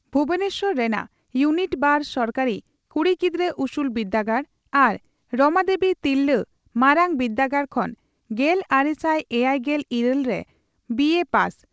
ᱵᱷᱩᱵᱚᱱᱮᱥᱚᱨ ᱨᱮᱱᱟᱜ ᱭᱩᱱᱤᱴᱼᱵᱟᱨ ᱥᱚᱨᱠᱟᱨᱤ ᱠᱩᱲᱤ ᱜᱤᱫᱽᱨᱟᱹ ᱩᱥᱩᱞ ᱵᱤᱨᱫᱟᱹᱜᱟᱲ ᱟᱨ ᱨᱚᱢᱟᱫᱮᱵᱤ ᱛᱤᱨᱞᱟᱹ ᱢᱟᱨᱟᱝ ᱵᱤᱨᱫᱟᱹᱜᱟᱲ ᱠᱷᱚᱱ ᱜᱮᱞᱟᱨᱮᱥᱟᱭ ᱮᱭᱟᱭᱜᱮᱞ ᱤᱨᱟᱹᱞ ᱨᱮ ᱵᱤᱮᱹ ᱯᱟᱥ ᱾